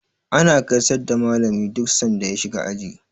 Ana gaisar da malami duk san da ya shiga aji.